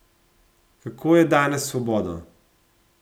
Kako je danes s svobodo?